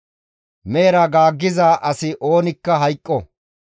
«Mehera gaaggiza asi oonikka hayqqo.